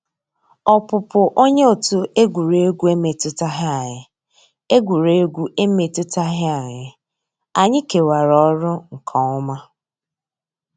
Ọ́pụ́pụ́ ónyé ótú égwurégwu emétùtàghị́ ànyị́; égwurégwu emétùtàghị́ ànyị́; ànyị́ kèwàrà ọ́rụ́ nkè ọ́má.